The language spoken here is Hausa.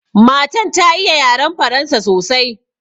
Matan ta iya yaran Faransa sosai.